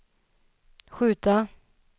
skjuta